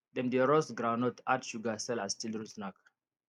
dem dey roast groundnut add sugar sell as children snack